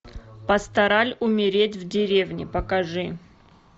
пастораль умереть в деревне покажи